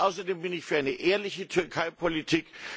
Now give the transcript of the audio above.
Außerdem bin ich für eine ehrliche Türkeipolitik.